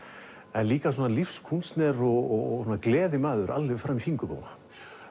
en líka lífskúnstner og gleðimaður alveg fram í fingurgóma